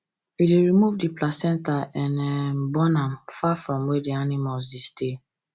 we dey remove the placenta and um burn am far from where animals dey stay